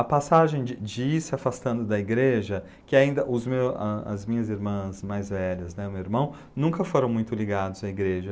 A passagem de de ir se afastando da igreja, que ainda os meus a as minhas irmãs mais velhas né, o meu irmão, nunca foram muito ligados à igreja.